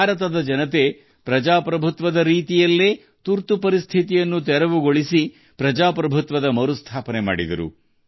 ಭಾರತದ ಜನರು ತುರ್ತು ಪರಿಸ್ಥಿತಿಯನ್ನು ತೊಡೆದು ಹಾಕಿದರು ಮತ್ತು ಪ್ರಜಾಸತ್ತಾತ್ಮಕ ರೀತಿಯಲ್ಲಿ ಪ್ರಜಾಪ್ರಭುತ್ವವನ್ನು ಮರುಸ್ಥಾಪಿಸಿದರು